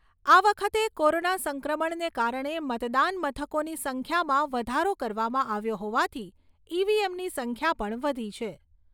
આ વખતે કોરોના સંક્રમણને કારણે મતદાન મથકોની સંખ્યામાં વધારો કરવામાં આવ્યો હોવાથી ઈ.વી.એમ.ની સંખ્યા પણ વધી છે.